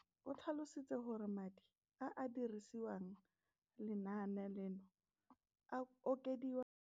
Rakwena o tlhalositse gore madi a a dirisediwang lenaane leno a okediwa ngwaga yo mongwe le yo mongwe go tsamaelana le.